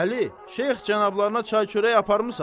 Əli, Şeyx cənablarına çay-çörək aparmısan?